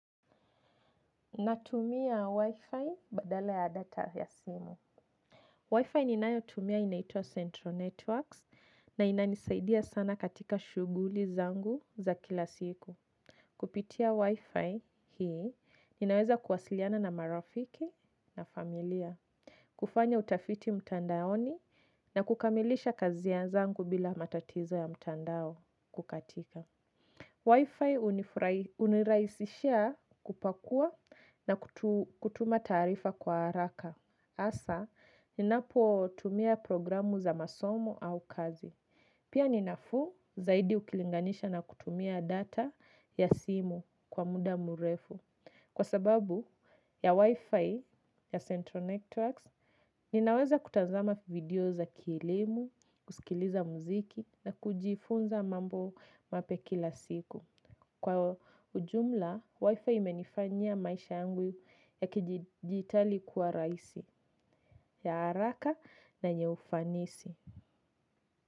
Natumia Wi-Fi badala ya data ya simu. Wi-Fi ninayotumia inaitwa Central Networks na inanisaidia sana katika shughuli zangu za kila siku. Kupitia Wi-Fi hii, ninaweza kuwasiliana na marafiki na familia. Kufanya utafiti mtandaoni na kukamilisha kazi ya zangu bila matatizo ya mtandao kukatika. Wi-Fi huniraisishia kupakua na kutuma taarifa kwa haraka. Asa, ninapotumia programu za masomo au kazi. Pia ni nafuu zaidi ukilinganisha na kutumia data ya simu kwa muda mrefu. Kwa sababu ya Wi-Fi ya Central Networks, ninaweza kutazama video za kielimu, kusikiliza muziki na kujifunza mambo mapya kila siku. Kwa ujumla, wifi imenifanyia maisha yangu ya kidijitali kuwa raisi, ya haraka na yenye ufanisi.